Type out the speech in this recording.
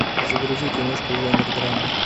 загрузи киношку жанр драма